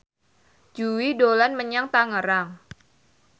Jui dolan menyang Tangerang